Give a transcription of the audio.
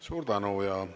Suur tänu!